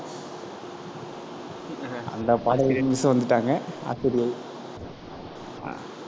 அந்த பாடல் இரு miss வந்துட்டாங்க ஆசிரியை